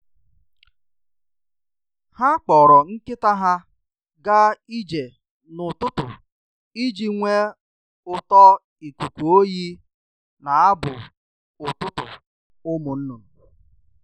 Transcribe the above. Ha kpọrọ nkịta ha ga ije n'ụtụtụ iji nwee ụtọ ikuku oyi na abụ ụtụtụ ụmụ nnụnụ.